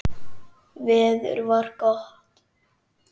Veður var gott.